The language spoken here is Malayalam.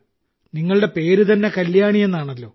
നിങ്ങളുടെ പേര് തന്നെ കല്യാണി എന്നാണല്ലോ